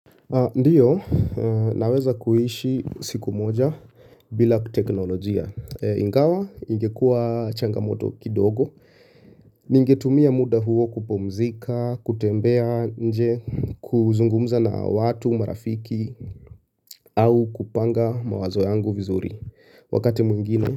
Ndiyo, naweza kuhishi siku moja bila teknolojia. Ingawa, ingekua changamoto kidogo. Ningetumia muda huo kupumzika, kutembea, nje, kuzungumza na watu, marafiki. Au kupanga mawazo yangu vizuri. Wakati mwingine.